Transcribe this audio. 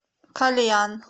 кальян